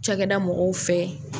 Cɛkɛda mɔgɔw fɛ